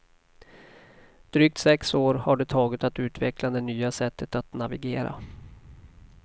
Drygt sex år har det tagit att utveckla det nya sättet att navigera.